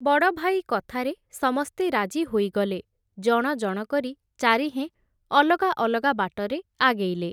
ବଡ଼ଭାଇ କଥାରେ ସମସ୍ତେ ରାଜି ହୋଇଗଲେ, ଜଣ ଜଣ କରି ଚାରିହେଁ, ଅଲଗା ଅଲଗା ବାଟରେ ଆଗେଇଲେ ।